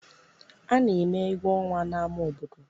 A na-eme egwu ọnwa n'ama obodo.